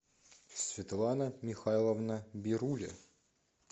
светлана михайловна бируля